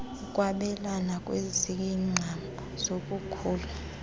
ukwabelana ngeziqhamo zokukhula